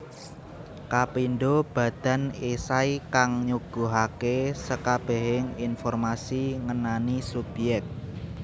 Kapindho badan esai kang nyuguhake sekabehing informasi ngenani subyek